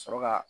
Sɔrɔ ka